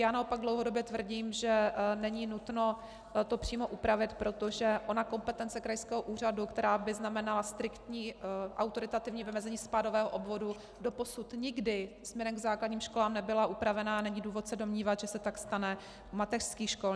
Já naopak dlouhodobě tvrdím, že není nutno to přímo upravit, protože ona kompetence krajského úřadu, která by znamenala striktní autoritativní vymezení spádového obvodu, doposud nikdy směrem k základním školám nebyla upravena a není důvod se domnívat, že se tak stane u mateřských škol.